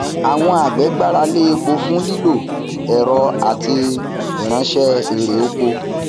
àwọn àgbè gbára lé epo fún lílo ẹrọ àti ránṣẹ ẹrè oko